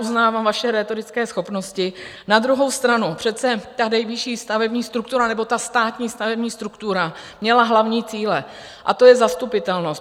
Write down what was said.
Uznávám vaše rétorické schopnosti, na druhou stranu přece ta nejvyšší stavební struktura nebo ta státní stavební struktura měla hlavní cíle, a to je zastupitelnost.